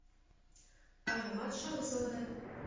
аромат шахзода